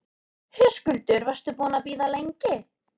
Höskuldur: Varstu búinn að bíða lengi?